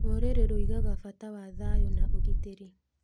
Rũrĩrĩ rũigaga bata wa thayũ na ũgitĩri.